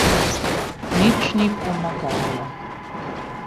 Nič ni pomagalo.